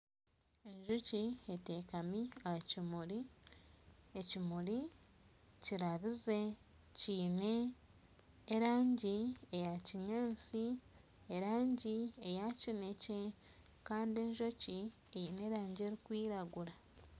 Enjoki eteekami aha kimuri. Ekimuri kirabize kiine erangi eya kinyaasi erangi eya kinekye kandi enjoki eine erangi erikwiragura.